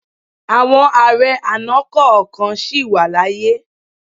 Àwọn ààrẹ àná kọ̀ọ̀kan sì wà láàyè.